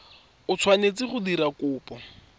o tshwanetseng go dira kopo